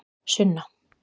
Sunna